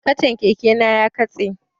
Kacan keke na ya katse